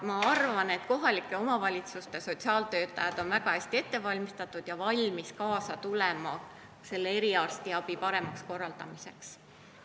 Ma arvan, et kohalike omavalitsuste sotsiaaltöötajad on väga hästi ette valmistatud ja valmis kaasa tulema selle eriarstiabi paremaks korraldamiseks.